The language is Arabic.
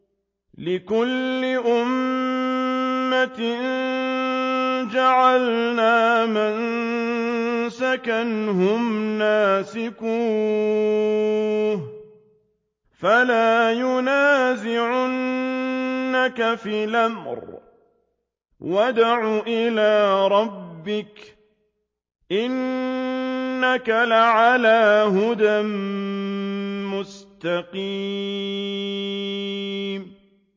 لِّكُلِّ أُمَّةٍ جَعَلْنَا مَنسَكًا هُمْ نَاسِكُوهُ ۖ فَلَا يُنَازِعُنَّكَ فِي الْأَمْرِ ۚ وَادْعُ إِلَىٰ رَبِّكَ ۖ إِنَّكَ لَعَلَىٰ هُدًى مُّسْتَقِيمٍ